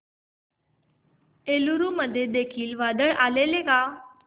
एलुरू मध्ये देखील वादळ आलेले का